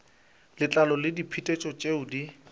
letlalo le diphetetšo tšeo di